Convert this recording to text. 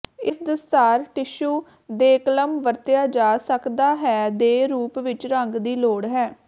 ਇਸ ਦਸਤਾਰ ਟਿਸ਼ੂ ਦੇਕਲਮ ਵਰਤਿਆ ਜਾ ਸਕਦਾ ਹੈ ਦੇ ਰੂਪ ਵਿੱਚ ਰੰਗ ਦੀ ਲੋੜ ਹੈ